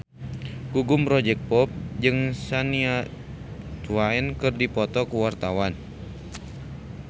Gugum Project Pop jeung Shania Twain keur dipoto ku wartawan